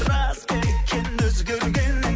рас па екен өзгергенің